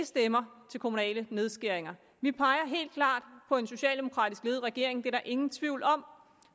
stemmer til kommunale nedskæringer vi peger helt klart på en socialdemokratisk ledet regering det er der ingen tvivl om